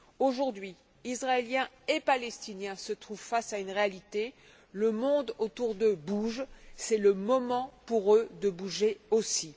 Aujourd'hui, Israéliens et Palestiniens se trouvent face à une réalité, le monde autour d'eux bouge, c'est le moment pour eux de bouger aussi.